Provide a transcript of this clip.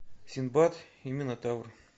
синдбад и минотавр